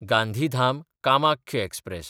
गांधीधाम–कामाख्य express